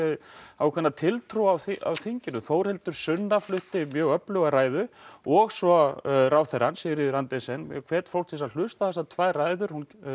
ákveðna tiltrú á á þinginu Þórhildur Sunna flutti mjög öfluga ræðu og svo ráðherrann Sigríður Andersen ég hvet fólk til þess að hlusta á þessar tvær ræður